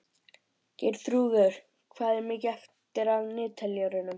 Geirþrúður, hvað er mikið eftir af niðurteljaranum?